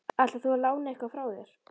Ætlar þú að lána eitthvað frá þér?